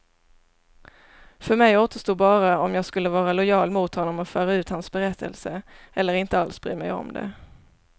För mig återstod bara om jag skulle vara lojal mot honom och föra ut hans berättelse, eller inte alls bry mig om det.